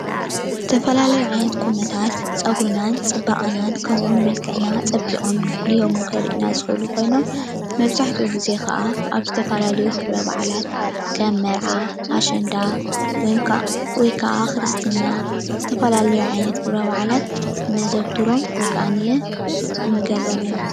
ዝተፈላለዩ ዓይነት ቁኖታት ፀጉርናን ፅባቐናን ከምኡ እውን መልክዕና ፀቢቆም ጎልሆም ከርእዩና ዝክእል ኮይኖም መብዛሕትኢ ግዜ ከዓ ኣብ ዝተፈላለዩ ክብረ በዓላት ከም መርዓ፣ ኣሸንዳ ፣ ወይ ከኣ ክርስትና ዝፈላለዩ ዓይነት ክብረ በዓላት እነዘውትሮም ወይ ከዓ እንገብሮም እዮም፡፡